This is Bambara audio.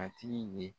A tigi ye